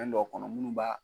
Fɛn dɔ kɔnɔ munnu b'a